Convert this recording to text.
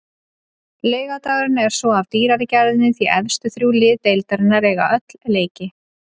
Laugardagurinn er svo af dýrari gerðinni því efstu þrjú lið deildarinnar eiga öll leiki.